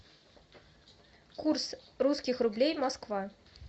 курс русских рублей москва